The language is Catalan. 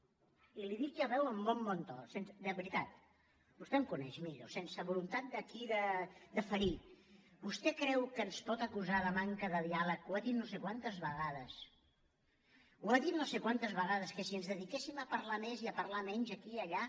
i li ho dic ja ho veu amb molt bon to de veri·tat vostè em coneix millo sense voluntat aquí de ferir vostè creu que ens pot acusar de manca de diàleg ho ha dit no sé quantes vegades ho ha dit no sé quantes ve·gades que si ens dediquéssim a parlar més i a parlar menys aquí i allà